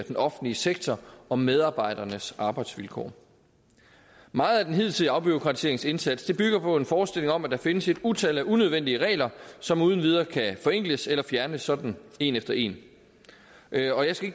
den offentlige sektor og medarbejdernes arbejdsvilkår meget af den hidtidige afbureaukratiseringsindsats bygger på en forestilling om at der findes et utal af unødvendige regler som uden videre kan forenkles eller fjernes sådan en efter en og jeg skal